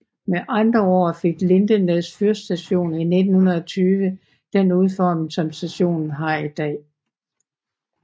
Med andre ord fik Lindesnes fyrstation i 1920 den udforming som stationen har i dag